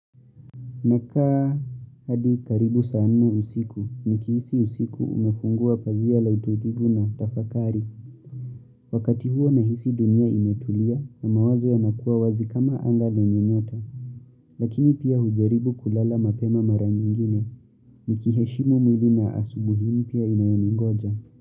Nakaa hadi karibu saa nne usiku, nikihisi usiku umefungua pazia la utulivu na tafakari, wakati huo nahisi dunia imetulia na mawazo yanakuwa wazi kama anga lenye nyota, lakini pia hujaribu kulala mapema mara nyingine, nikiheshimu mwili na asubuhi mpya inayoningoja.